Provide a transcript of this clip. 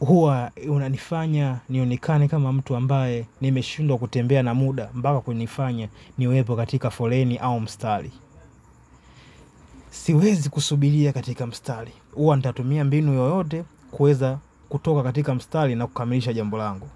Huwa unanifanya nionekane kama mtu ambaye nimeshindwa kutembea na muda mpaka kunifanya niwepo katika foleni au mstari. Siwezi kusubiria katika mstari. Huwa nitatumia mbinu yoyote kuweza kutoka katika mstari na kukamilisha jambo langu.